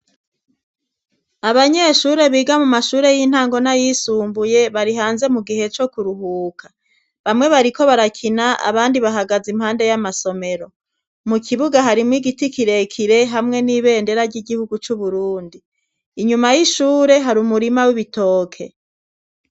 Abanyeshure biga mu mashure y'intangona yisumbuye barihanze mu gihe co kuruhuka bamwe bariko barakina abandi bahagaze impande y'amasomero mu kibuga harimwo igiti kirekire hamwe n'ibendera ry'igihugu c'uburundi inyuma y'ishure hari umurima w'ibitoke.